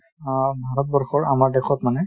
অ ভাৰতবৰ্ষৰ আমাৰ দেশত মানে,